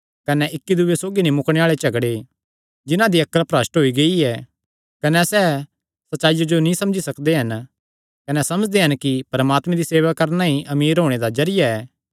कने इक्की दूये सौगी नीं मुकणे आल़े झगड़े जिन्हां दी अक्ल भरष्ठ होई गेई ऐ कने सैह़ सच्चाईया जो नीं समझी सकदे हन कने समझदे हन कि परमात्मे दी सेवा करणा ई अमीर होणे दा जरिया ऐ